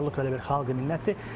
Qaruluq elə bir xalq minnətdir.